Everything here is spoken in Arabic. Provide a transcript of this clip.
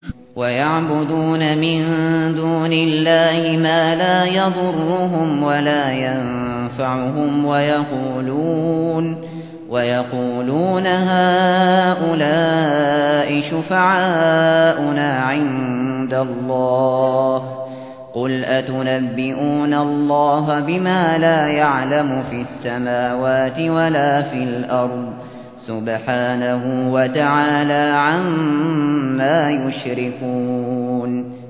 وَيَعْبُدُونَ مِن دُونِ اللَّهِ مَا لَا يَضُرُّهُمْ وَلَا يَنفَعُهُمْ وَيَقُولُونَ هَٰؤُلَاءِ شُفَعَاؤُنَا عِندَ اللَّهِ ۚ قُلْ أَتُنَبِّئُونَ اللَّهَ بِمَا لَا يَعْلَمُ فِي السَّمَاوَاتِ وَلَا فِي الْأَرْضِ ۚ سُبْحَانَهُ وَتَعَالَىٰ عَمَّا يُشْرِكُونَ